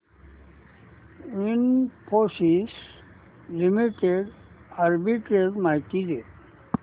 Infosys limited arbitrage माहिती दे